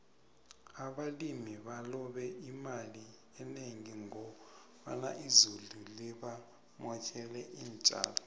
abalimi balobe imali enengi ngoba izulu libamotjele intjalo